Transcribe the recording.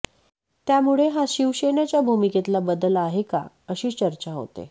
त्यामुळे हा शिवसेनेच्या भूमिकेतला बदल आहे का अशी चर्चा होते